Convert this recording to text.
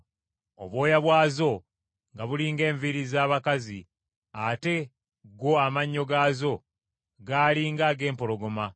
Obwoya bwazo nga buli ng’enviiri z’abakazi, ate go amannyo gaazo gaali ng’ag’empologoma.